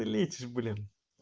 ты лечишь блин